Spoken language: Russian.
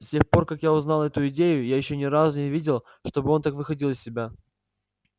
с тех пор как я узнал эту идею я ещё ни разу не видел чтобы он так выходил из себя